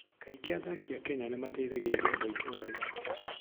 Kaingĩ athaki a Kenya nĩ mateithagĩrĩria andũ a itũũra rĩao.